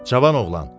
Cavan oğlan,